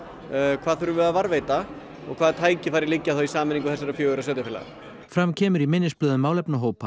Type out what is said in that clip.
hvað þurfum við að varðveita og hvaða tækifæri liggja þá í sameiningu þessara fjögurra sveitarfélaga fram kemur í minnisblöðum málefnahópa að